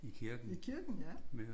I kirken ja